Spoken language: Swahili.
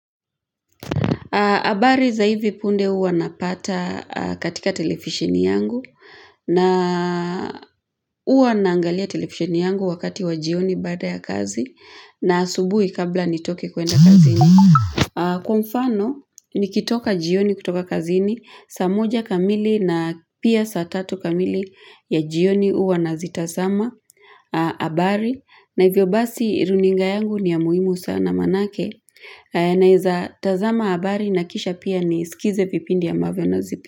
Habari za hivi punde huwa napata katika televisheni yangu na Huwa naangalia televisheni yangu wakati wa jioni baada ya kazi na asubuhi kabla nitoke kuenda kazini. Kwa mfano, nikitoka jioni kutoka kazini, saa moja kamili na pia saa tatu kamili ya jioni huwa nazitazama habari. Habari za hivi punde huwa napata katika televisheni yangu na naeza tazama habari na kisha pia nisikize vipindi ambavyo nazipe.